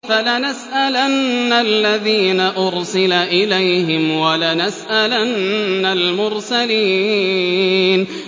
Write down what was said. فَلَنَسْأَلَنَّ الَّذِينَ أُرْسِلَ إِلَيْهِمْ وَلَنَسْأَلَنَّ الْمُرْسَلِينَ